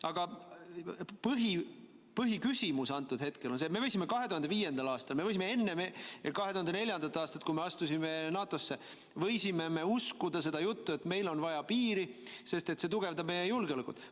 Aga põhiküsimus antud hetkel on see, et me võisime 2005. aastal, me võisime enne 2004. aastat, kui me astusime NATO-sse, uskuda seda juttu, et meil on vaja piiri, sest see tugevdab meie julgeolekut.